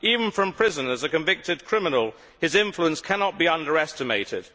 Even from prison as a convicted criminal, his influence cannot be underestimated.